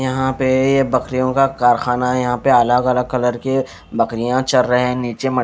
यहां पे ये बकरियों का कारखाना है यहां पे अलग अलग कलर के बकरियां चर रहे हैं नीचे मट--